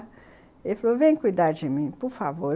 Ele falou, vem cuidar de mim, por favor.